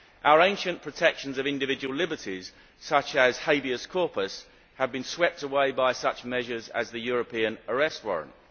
Our ancient protections of individual liberties such as Habeas corpus have been swept away by such measures as the European Arrest Warrant.